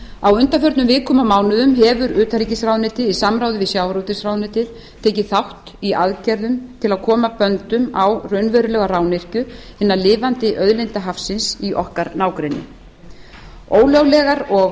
á undanförnum vikum og mánuðum hefur utanríkisráðuneytið í samráði við sjávarútvegsráðuneytið tekið þátt í aðgerðum til að koma böndum á raunverulega rányrkju hinna lifandi auðlinda hafsins í okkar nágrenni ólöglegar og